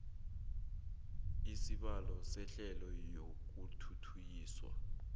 isibawo sehlelo lokuthuthukiswa